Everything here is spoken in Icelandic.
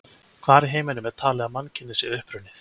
Hvar í heiminum er talið að mannkynið sé upprunnið?